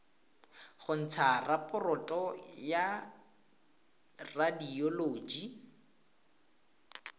go ntsha raporoto ya radioloji